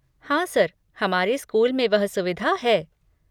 हाँ, सर, हमारे स्कूल में वह सुविधा है।